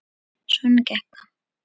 Svona gekk það.